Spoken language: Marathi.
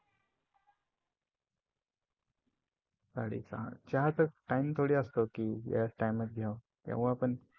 साडेसहा चहा चा टाईम थोडी असतो याच टाईमात केव्हा पण.